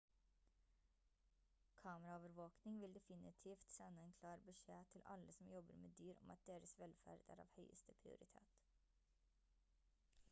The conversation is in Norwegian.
kameraovervåkning vil definitivt sende en klar beskjed til alle som jobber med dyr om at deres velferd er av høyeste prioritet